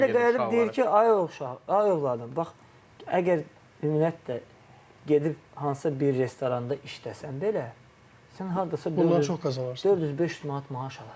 Valideyn də gəlib deyir ki, ay o uşaq, ay övladım, bax, əgər ümumiyyətlə gedib hansısa bir restoranda işləsən belə, sən hardasa 400-500 manat maaş alırsan.